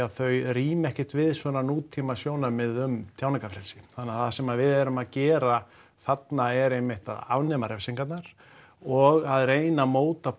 að þau ríma ekkert við nútímasjónarmið um tjáningarfrelsi þannig að það sem við erum að gera þarna er einmitt að afnema refsingar og reyna að móta